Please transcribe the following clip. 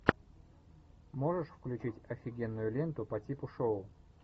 можешь включить офигенную ленту по типу шоу